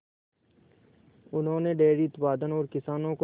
उन्होंने डेयरी उत्पादन और किसानों को